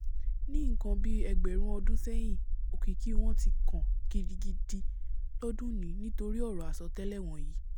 ní nǹkan bíi ẹgbẹ̀rún ọdún sẹ́hìn òkìkí wọn ti kàn gidi idi lọ́dúnnìí nítorí ọ̀rọ̀ àsọtẹ́lẹ̀ wọ̀nyí